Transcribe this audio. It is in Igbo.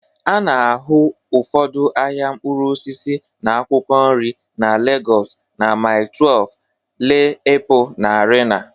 A na-ahụ ụfọdụ ahịa mkpụrụ osisi na akwụkwọ nri na Lagos na Mile 12, Ile Epo na Arena